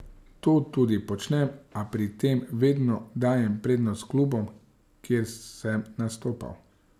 To tudi počnem, a pri tem vedno dajem prednost klubom, kjer sem nastopal.